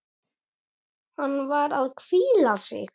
Hann var að hvíla sig.